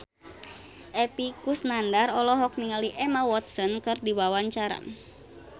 Epy Kusnandar olohok ningali Emma Watson keur diwawancara